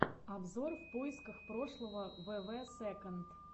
обзор в поисках прошлого вв сэконд